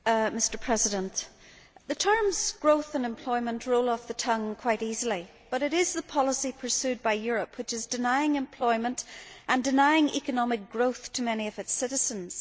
Mr President, the terms growth' and employment' roll off the tongue quite easily, but it is the policy pursued by Europe which is denying employment and denying economic growth to many of its citizens.